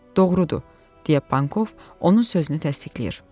Doğrudur, — deyə Pankov onun sözünü təsdiqlədi.